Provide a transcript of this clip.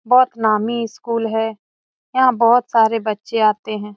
बहुत नामी स्कूल है यहां बहुत सारे बच्चे आते हैं।